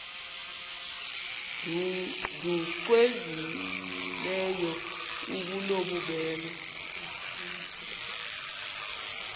nbu cwengileyo obunobubele